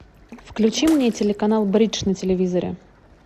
включи мне телеканал бридж на телевизоре